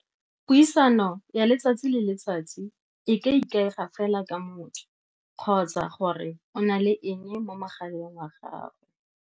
Puisano ya letsatsi le letsatsi e ka ikaega fela ka motho, kgotsa gore o na le eng mo mogaleng wa gago.